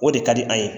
O de ka di an ye